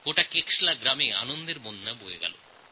কেশলা গ্রামের সকলে মিলে আনন্দউৎসব পালন করেছেন